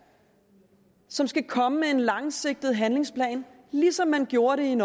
som skal komme med en langsigtet handlingsplan ligesom man gjorde det